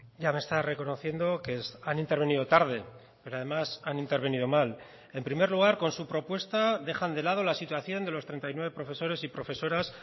ya me está reconociendo que han intervenido tarde pero además han intervenido mal en primer lugar con su propuesta dejan de lado la situación de los treinta y nueve profesores y profesoras